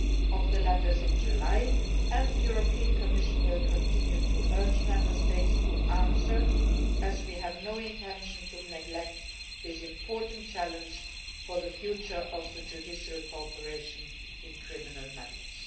about the letters in July, and the European Commission will continue to urge Member States to answer, as we have no intention of neglecting this important challenge for the future of judicial cooperation in criminal matters.